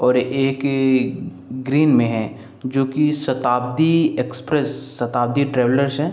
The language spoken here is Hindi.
और एक ही ग्रीन में है जो कि शताब्दी एक्सप्रेस शताब्दी ट्रैवलर्स है।